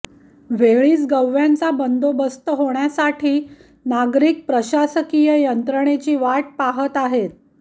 वेळीच गव्यांचा बंदोबस्त होण्यासाठी नागरिक प्रशासकीय यंत्रणेची वाट पाहत आहेत